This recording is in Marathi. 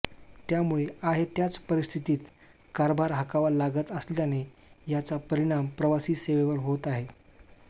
त्यामुळे आहे त्याच परिस्थितीत कारभार हाकावा लागत असल्याने याचा परिणाम प्रवासी सेवेवर होत आहे